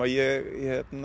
ég